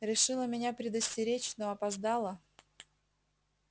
решила меня предостеречь но опоздала